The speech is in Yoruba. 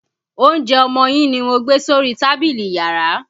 Oúnjẹ ọmọ yín ni mo gbé sórí tábìlì iyàrá.